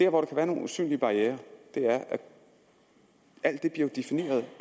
jo være nogle usynlige barrierer i at alt jo bliver defineret